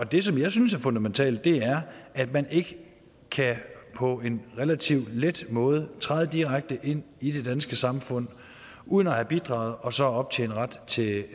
det som jeg synes er fundamentalt er at man ikke på en relativt let måde træde direkte ind i det danske samfund uden at have bidraget og så optjene ret til